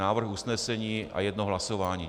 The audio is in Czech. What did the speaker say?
Návrh usnesení a jedno hlasování.